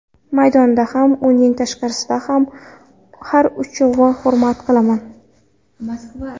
Maydonda ham, uning tashqarasida ham har uchovini hurmat qilaman.